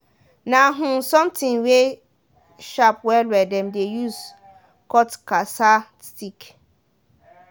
na um something wey sharp well well dem de use cut cassaa stick